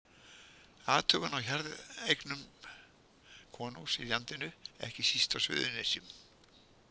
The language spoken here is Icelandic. Athugun á jarðeignum konungs í landinu, ekki síst á Suðurnesjum.